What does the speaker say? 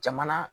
Jamana